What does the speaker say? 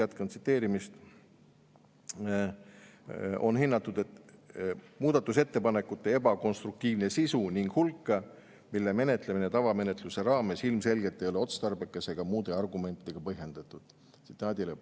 muudatusettepanekute ebakonstruktiivset sisu ning hulka, mille menetlemine tavamenetluse raames ilmselgelt ei ole otstarbekas ega muude argumentidega põhjendatud.